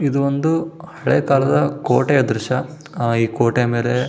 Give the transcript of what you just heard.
ಇದು ಒಂದು ಹಳೆ ಕಾಲದ ಕೋಟೆಯ ದ್ರಶ್ಯ ಈ ಕೋಟೆಯ ಮೇಲೆ --